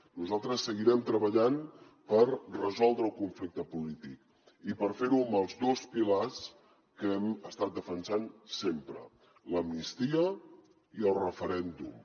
nosaltres seguirem treballant per resoldre el conflicte polític i per fer ho amb els dos pilars que hem estat defensant sempre l’amnistia i el referèndum